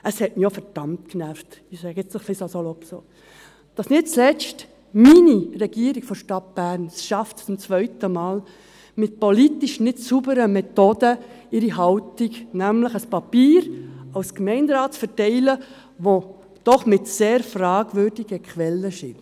Es hat mich auch verdammt genervt, ich sage das nun salopp so, dass nicht zuletzt meine Regierung der Stadt Bern, es zum zweiten Mal schaffte, mit politisch nicht sauberen Methoden ihre Haltung bekannt zu machen, nämlich als Gemeinderat ein Papier zu verteilen, das doch sehr fragwürdige Quellen enthält.